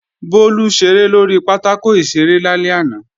Bólú ṣeré lórí pátákò ìṣeré lálẹ́ àná